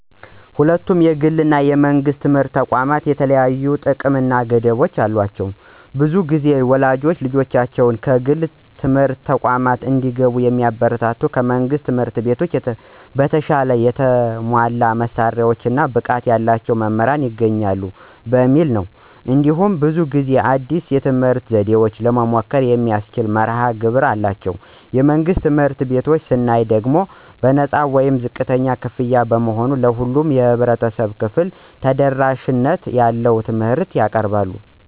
ሁለቱም የግል እና የመንግሥት ትምህርት ተቋማት የተለያዩ ጥቅሞች እና ገደቦች አሏቸው። ብዙ ጊዜ ወላጆች ልጆቻቸው የግል ትምህርት ተቋማት እንዲገቡ የሚያበረታቱት ከመንግሥት ትምህርት ቤቶች በተሻለ የተሟላ መሳሪያዎች እና ብቃት ያላቸው መምህራን ይገኙበታል በሚል ነው። እንዲሁም ብዙ ጊዜ አዲስ የትምህርት ዘዴዎችን ለመሞከር የሚያስችል መርሀ ግብር አላቸው። የመንግሥት ትምህርት ቤቶችን ስናይ ደግሞ በነፃ ወይም ዝቅተኛ ክፍያ በመሆኑ ለሁሉም የህብረተሰብ ክፍል ተደራሽነት ያለው ትምህርት ያቀርባሉ።